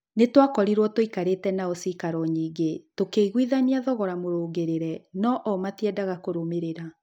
Nĩtwakorirwo tũikarĩte nao cikaro nyingĩ, tũkĩiguithania thogora mũrũngĩrĩre, no o matiendaga kũrũmĩrĩra.